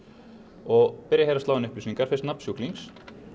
og byrja hér að slá inn upplýsingar fyrst nafn sjúklings